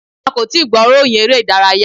A kò tíì gbọ́ ìròyìn eré ìdárayá.